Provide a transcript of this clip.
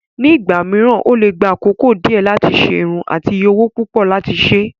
Nígbà mìíràn, ó lè gba àkókò díẹ̀ láti ṣe irun àti iye owó púpọ̀ láti ṣe.